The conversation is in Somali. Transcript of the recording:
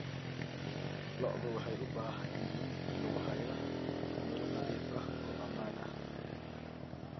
Lo'du waxay u baahan yihiin in lagu hayo meelo nadiif ah oo ammaan ah.